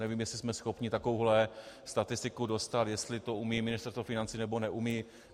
Nevím, jestli jsme schopni takovouhle statistiku dostat, jestli to umí Ministerstvo financí, nebo neumí.